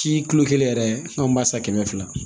Si kilo kelen yɛrɛ anw b'a san kɛmɛ fila